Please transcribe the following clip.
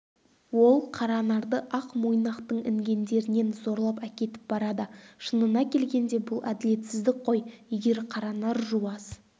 ол қаранарды ақ мойнақтың інгендерінен зорлап әкетіп барады шынына келгенде бұл әділетсіздік қой егер қаранар жуас